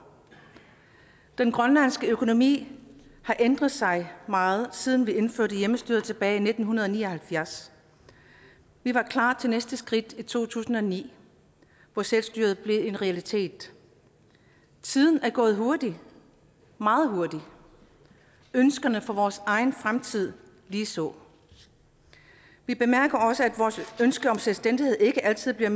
den grønlandske økonomi har ændret sig meget siden vi indførte hjemmestyret tilbage nitten ni og halvfjerds vi var klar til næste skridt i to tusind og ni hvor selvstyret blev en realitet tiden er gået hurtigt meget hurtigt og ønskerne for vores egen fremtid ligeså vi bemærker også at vores ønske om selvstændighed ikke altid bliver